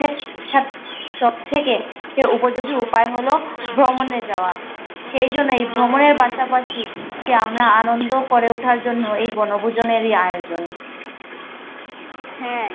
ছাত সব থেকে। উপযোগী উপায় হল ভমনে যাওয়া। সেই জন্য এই ভমনের পাশাপাশি সে আমরা আনন্দ করে উঠা জন্য এই বনভূজনীর আয়োজন হ্যা